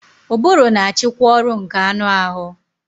Ụbụrụ na-achịkwa ọrụ nke anụ ahụ